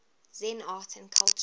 zen art and culture